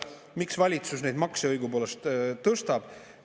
Miks valitsus neid makse õigupoolest tõstab?